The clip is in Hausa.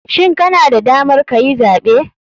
Shin kana da damar kayi zaɓe?